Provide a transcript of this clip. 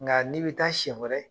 Nka n'i bi taa siyɛn wɛrɛ